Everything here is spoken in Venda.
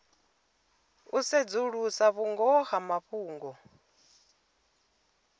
u sedzulusa vhungoho ha mafhungo